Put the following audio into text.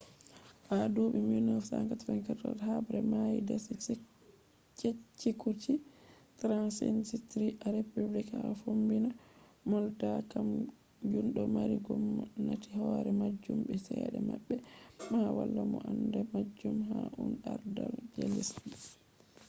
ha duɓi 1994 habbre mai dasi cecekuce transnsistri a republic ha fombina moldova kam jun do mari gomnati hore majun be cede mabbe amma wala mo anda majun ha un ardal je lesdiji